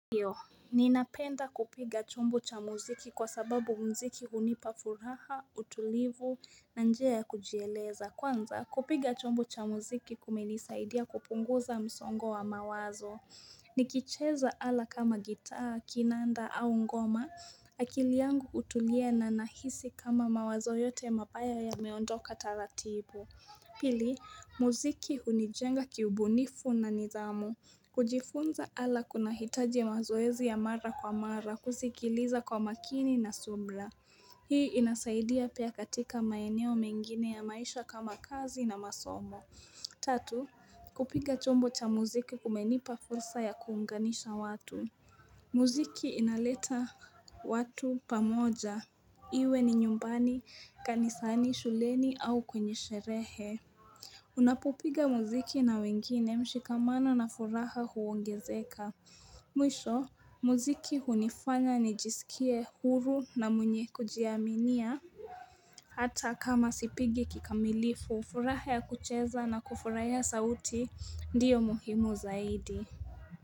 Ninapenda kupiga chumbo cha muziki kwasababu muziki hunipa furaha, utulivu, na njia ya kujieleza. Kwanza kupiga chombo cha muziki kumenisaidia kupunguza msongo wa mawazo. Nikicheza ala kama gitaa, kinanda au ngoma. Akili yangu hutuliw na nahisi kama mawazo yote mabaya yameondoka taratibu. Pili, muziki hunijenga kiubunifu na nizamu. Kujifunza ala kunahitaji mazoezi ya mara kwa mara kuzikiliza kwa makini na subra Hii inasaidia pia katika maeneo mengine ya maisha kama kazi na masomo Tatu, kupiga chombo cha muziki kumenipa fursa ya kuunganisha watu Muziki inaleta watu pamoja, iwe ni nyumbani kanisani shuleni au kwenye sherehe Unapopiga muziki na wengine mshikamano na furaha huongezeka Mwisho, muziki hunifanya nijisikie huru na mwenye kujiaminia Hata kama sipigi kikamilifu, furaha ya kucheza na kufurahia sauti ndiyo muhimu zaidi.